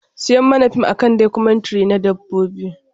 Siya mani fim a kan documentary na Dabbobi.